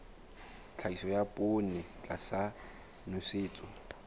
tlhahiso ya poone tlasa nosetso